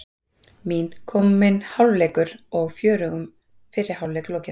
Mín: Kominn hálfleikur og fjörugum fyrri hálfleik lokið.